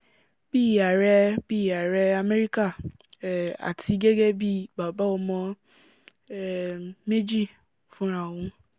bíi ààrẹ̀ bíi ààrẹ̀ amẹrika um àti gẹ́gẹ́ bíi baba ọmọ um méjì fúnra òun